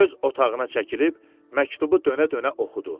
Öz otağına çəkilib məktubu dönə-dönə oxudu.